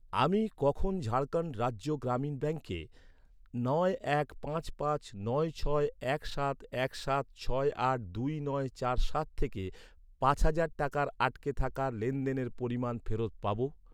আমি কখন ঝাড়খণ্ড রাজ্য গ্রামীণ ব্যাঙ্কে নয় এক পাঁচ পাঁচ নয় ছয় এক সাত এক সাত ছয় আট দুই নয় চার সাত থেকে পাঁচ হাজার টাকার আটকে থাকা লেনদেনের পরিমাণ ফেরত পাব?